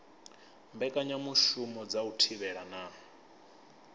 mbekanyamushumo dza u thivhela na